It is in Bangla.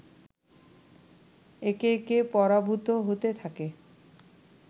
একে একে পরাভূত হতে থাকে